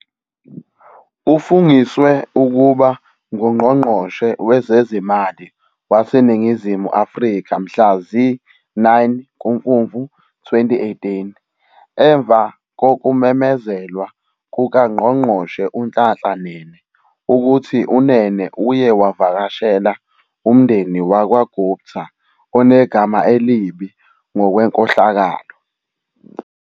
Ufungiswe ukuba nguNgqongqoshe wezeziMali waseNingizimu Afrika mhla zi-9 kuMfumfu 2018 emva kokumemezelwa kukaNgqongqoshe uNhlanhla Nene ukuthi uNene uye wavakashela umndeni wakwaGupta onegama elibi ngokwenkohlakalo.